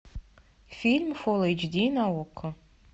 фильм фулл эйч ди на окко